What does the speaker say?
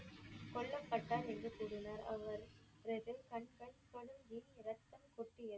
கொல்லபட்டார் என்று கூறினர் அவர் ரெண்டு கண்கள் ரெத்தம் கொட்டியது.